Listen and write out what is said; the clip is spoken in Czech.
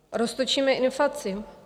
Roztočíme inflaci?